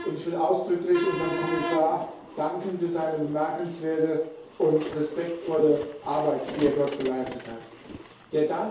Ich will ausdrücklich unserem Kommissar für seine bemerkenswerte und respektvolle Arbeit, die er dort geleistet hat, danken.